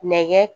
Nɛgɛ